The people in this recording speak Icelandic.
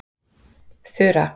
Þura